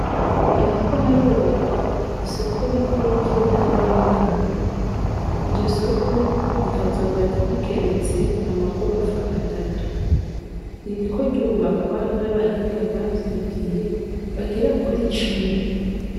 Hariko harubakwa isoko rikuru ry'intara ya makanga. Iryosoko rikazoba rigeretse amagorofa atatu. Ririko ryubakwa n'abahinga bavyigiye bagera kuri cumi.